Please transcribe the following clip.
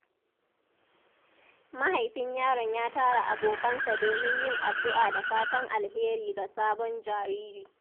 Mahaifin yaron ya tara abokansa domin yin addu’a da fatan alheri ga sabon jariri.